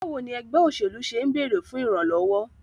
Báwo ni ẹgbẹ́ òṣèlú ṣe ń bèrè fún ìrànlọ́wọ́?